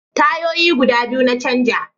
Tayoyi guda biyu na canja